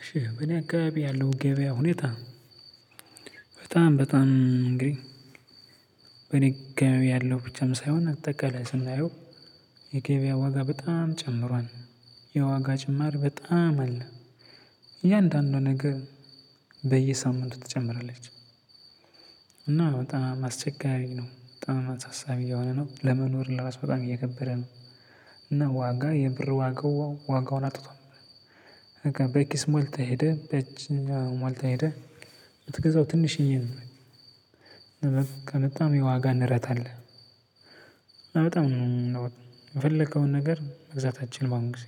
እሺ በእኔ አካቢ ያለው የገበያ ሁኔታ በጣም በጣም እንግዲህ በእኔ አካባቢ ያለው ብቻም ሳይሆን አትጠቀለ ስንታየው የገበያ ዋጋ በጣም ጨምሯል። የዋጋ ጭማር በጣም አለ እያንዳንዱ ነገር በየሳምንቱ ትጨምራለች። እና በጣም አስቸጋሪ ነው በጣም አሳሳቢ እየሆነ ነው ለመኖር ለራሱ በጣም እየከበደ ነው። እና ዋጋ የብር ዋጋው ዋጋውን አጥቷል። በቃ በኪስ ሞልተህ ሄደህ በእጅህም ያው ሞልተህ ሄደ። የምትገዛው ትንሽየ ነው። በቃ በጣም የዋጋ ንረት አለ። እና በጣም ንሯል የፈለከውን ነገር መግዛት አትችልም አሁን ጊዜ።